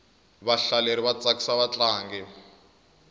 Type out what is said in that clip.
vahlateri va tsakisa vatlangi